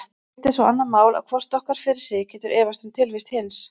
Hitt er svo annað mál að hvort okkar fyrir sig getur efast um tilvist hins.